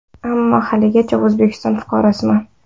Ammo haligacha O‘zbekiston fuqarosiman.